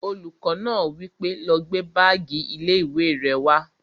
Olùkọ́ náà wí pé, "lọ gbé báàgì ilé-ìwé rẹ wá!"